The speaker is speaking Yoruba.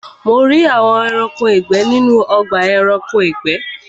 Mo rí àwọn Ẹranko ìgbẹ́ ní ọgbà Ẹranko ìgbẹ́